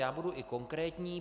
Já budu i konkrétní.